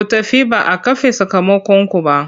Ku tafi ba a kafe sakamakonku ba!